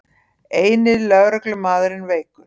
Eini lögreglumaðurinn veikur